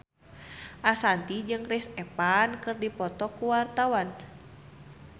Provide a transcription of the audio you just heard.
Ashanti jeung Chris Evans keur dipoto ku wartawan